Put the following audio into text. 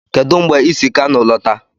Kedụ mgbe ị si Kano lọta?